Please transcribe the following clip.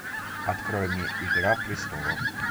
открой мне игра престолов